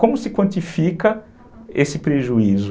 Como se quantifica esse prejuízo?